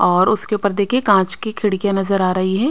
और उसके ऊपर देखिए कांच की खिड़कियां नजर आ रही है।